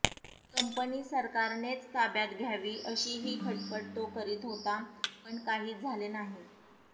company सरकारनेच ताब्यात घ्यावी अशीहि खटपट तो करीत होता पण काहीच झाले नाही